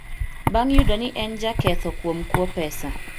bang’ yudo ni en jaketho kuom kuo pesa